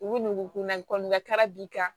U bɛ dugu ko la kɔnga b'i kan